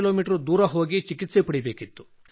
me ದೂರ ಹೋಗಿ ಚಿಕಿತ್ಸೆ ಪಡೆಯಬೇಕಿತ್ತು